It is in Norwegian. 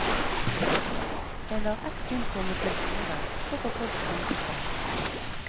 Jeg lar et syn komme til orde, så får folk tenke selv.